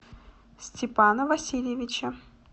степана васильевича